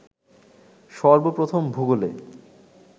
সর্বপ্রথম ভুগোলে